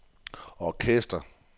orkester